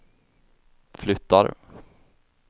flyttar